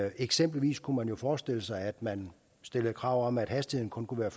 eksempelvis kunne man jo forestille sig at man stillede krav om at hastigheden kun kunne være